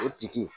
O tigi